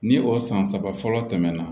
Ni o san saba fɔlɔ tɛmɛna